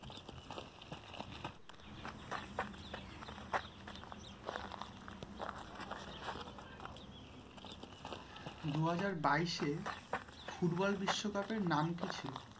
দুই হাজার বাইশে ফুটবল বিশ্বকাপের নাম কি ছিলো?